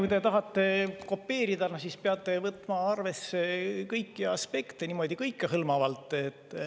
Kui te tahate kopeerida, siis peate võtma arvesse kõiki aspekte, niimoodi kõikehõlmavalt.